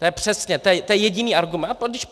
To je přesně, to je jediný argument.